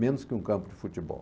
Menos que um campo de futebol.